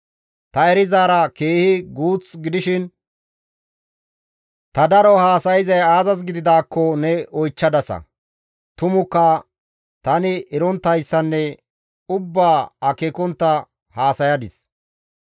Ta erizaara keehi guuth gidishin ta daro haasayzayssa aazas gididaakko ne oychchadasa; tumukka tani eronttayssanne akeekontta ubbaa haasayadis.